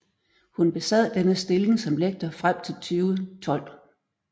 Hun besad denne stilling som lektor frem til 2012